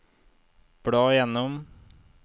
bla gjennom